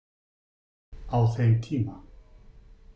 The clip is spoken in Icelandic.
Á þeim tíma.